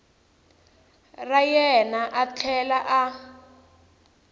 ra yena a tlhela a